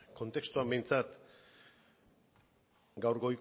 kontestuan behintzat gaur